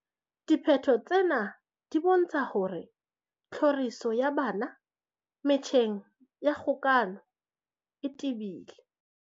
Diphetho tsena di bontsha hore tlhoriso ya bana metjheng ya kgokahano e tebile.